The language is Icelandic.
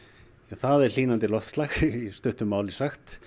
það er hlýnandi loftslag í stuttu máli sagt